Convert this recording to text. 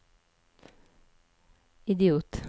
idiot